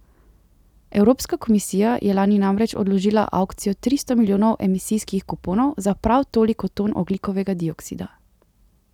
Evropska komisija je lani namreč odložila avkcijo tristo milijonov emisijskih kuponov za prav toliko ton ogljikovega dioksida.